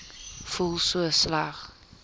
voel so sleg